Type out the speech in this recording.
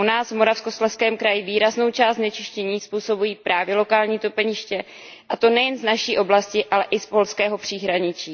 U nás, v Moravskoslezském kraji, výraznou část znečištění způsobují právě lokální topeniště, a to nejen z naší oblasti, ale i z polského příhraničí.